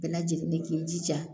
Bɛɛ lajɛlen ni k'i jija